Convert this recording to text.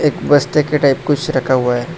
बस्ते के टाइप कुछ रखा हुआ है।